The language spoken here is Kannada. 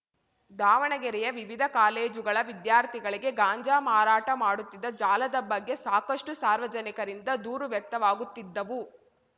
ದಾವಣಗೆರೆಯ ವಿವಿಧ ಕಾಲೇಜುಗಳ ವಿದ್ಯಾರ್ಥಿಗಳಿಗೆ ಗಾಂಜಾ ಮಾರಾಟ ಮಾಡುತ್ತಿದ್ದ ಜಾಲದ ಬಗ್ಗೆ ಸಾಕಷ್ಟುಸಾರ್ವಜನಿಕರಿಂದ ದೂರು ವ್ಯಕ್ತವಾಗುತ್ತಿದ್ದವು